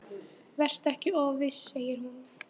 Vertu ekki of viss, segir hún.